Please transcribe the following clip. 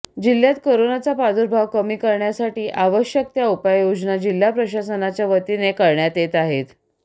जिल्ह्यात करोनाचा प्रादुर्भाव कमी करण्यासाठी आवश्यक त्या उपाययोजना जिल्हा प्रशासनाच्या वतीने करण्यात येत आहेत